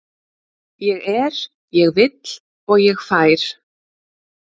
Ég er, ég vill og ég fær.